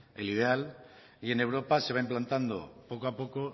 el ideal y en europa se va implantando poco a poco